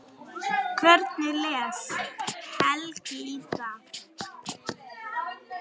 Hvernig les Helgi í það?